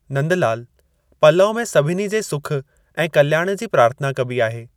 नंदलालु! पलउ में सभिनी जे सुख ऐं कल्याण जी प्रार्थना कबी आहे।